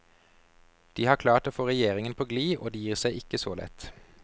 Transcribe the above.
De har klart å få regjeringen på gli, og de gir seg ikke så lett.